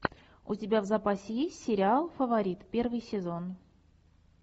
у тебя в запасе есть сериал фаворит первый сезон